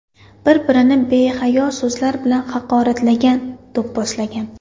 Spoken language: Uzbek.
Bir-birini behayo so‘zlar bilan haqoratlagan, do‘pposlagan.